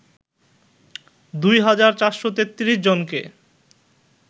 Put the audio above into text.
২ হাজার ৪৩৩ জনকে